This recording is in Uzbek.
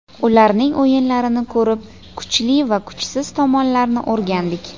Ularning o‘yinlarini ko‘rib, kuchli va kuchsiz tomonlarini o‘rgandik.